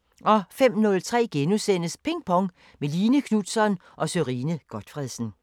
05:03: Ping Pong – med Line Knutzon og Sørine Godtfredsen *